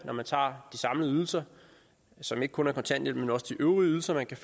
når man tager de samlede ydelser som ikke kun er kontanthjælp men også de øvrige ydelser man kan